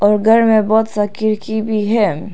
और घर में बहोत सा खिड़की भी है।